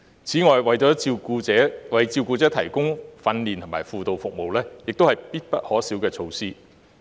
此外，為照顧者提供訓練和輔導服務也是必不可少的措施。